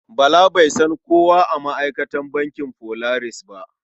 Bala bai san kowa a ma'aikatan bankin Polaris ba.